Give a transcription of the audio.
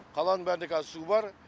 қаланың бәрінде қазір су бар